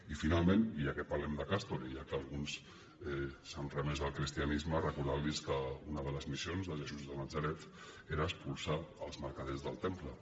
i finalment i ja que parlem de castor i ja que alguns s’han remès al cristianisme recordar los que una de les missions de jesús de natzaret era expulsar els mercaders del temple